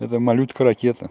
это малютка ракета